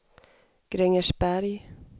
Grängesberg